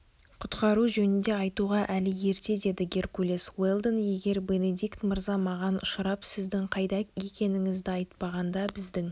құтқару жөнінде айтуға әлі ерте деді геркулес уэлдон егер бенедикт мырза маған ұшырап сіздің қайда екеніңізді айтпағанда біздің